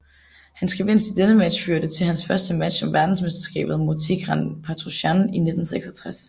Hans gevinst i denne match førte til hans første match om verdensmesterskabet mod Tigran Petrosjan i 1966